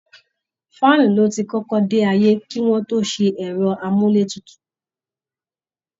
Fan ni ó ti kọ́kọ́ dé ayé kí wọ́n tó ṣe ẹ̀rọ amúlétutù